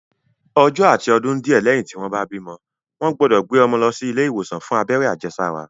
Ọjọ́ àti ọdún díẹ̀ lẹ́yìn tí wọ́n bá bímọ, wọ́n gbọ́dọ̀ gbé ọmọ lọ sí ilé ìwòsàn fún abẹ́rẹ́ àjẹsára